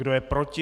Kdo je proti?